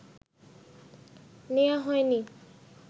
নেয়া হয়নি?